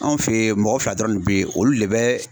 Anw fɛ yen mɔgɔ fila dɔrɔn de bɛ yen olu le bɛ